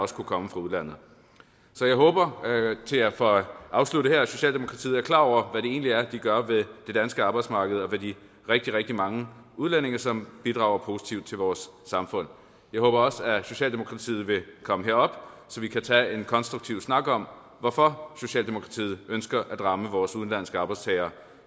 skulle komme fra udlandet så jeg håber for at afslutte her at socialdemokratiet er klar over hvad det egentlig er de gør ved det danske arbejdsmarked og ved de rigtig rigtig mange udlændinge som bidrager positivt til vores samfund jeg håber også at socialdemokratiet vil komme herop så vi kan tage en konstruktiv snak om hvorfor socialdemokratiet ønsker at ramme vores udenlandske arbejdstagere